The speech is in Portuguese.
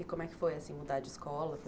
E como é que foi, assim, mudar de escola?